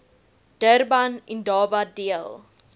durban indaba deel